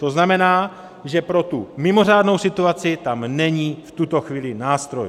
To znamená, že pro tu mimořádnou situaci tam není v tuto chvíli nástroj.